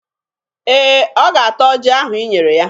Ee, ọ ga-ata ọjị ahụ i nyere ya.